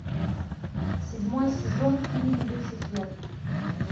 седьмой сезон фильм люцифер